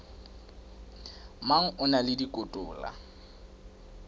mang a na le dikotola